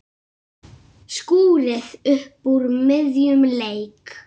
Skúrir upp úr miðjum leik.